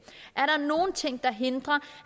er der nogle ting der hindrer